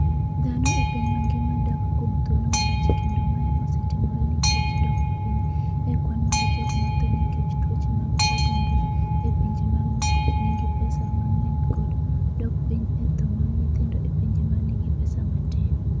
dhano e piny mangima dak kuom thuolo malach kendo mae osetimore nikech dok piny e kwan mar jogo matho nikech tuoche mag adundo e pinje ma nigi pesa mang’eny kod dok piny e tho mag nyithindo e pinje ma nigi pesa matin.